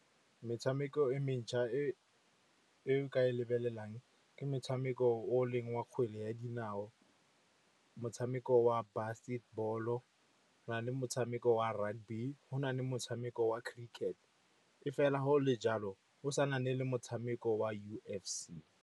Metshameko e mentšha e oe ka e lebelelang ke motshameko o leng wa kgwele ya dinao, motshameko wa basketball-o, go na le motshameko wa rugby, go na le motshameko wa cricket. E fela go le jalo, go sa na le motshameko wa U_F_C.